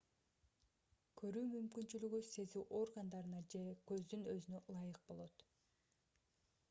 көрүү мүмкүнчүлүгү сезүү органдарына же көздүн өзүнө ылайык болот